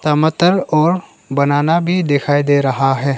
टमाटर और बनाना भी दिखाई दे रहा है।